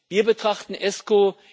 Wir betrachten ESCO